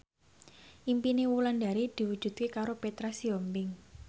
impine Wulandari diwujudke karo Petra Sihombing